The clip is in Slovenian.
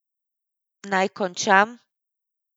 Naj končam.